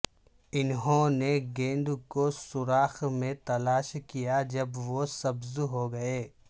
انہوں نے گیند کو سوراخ میں تلاش کیا جب وہ سبز ہوگئے